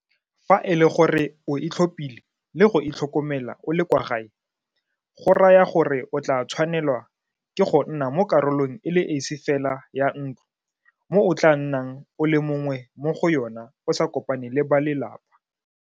Fa e le gore o itlhophile le go itlhokomela o le kwa gae go raya gore o tla tshwanelwa ke go nna mo karolong e le esi fela ya ntlo mo o tla nnang o le mongwe mo go yona o sa kopane le ba lelapa.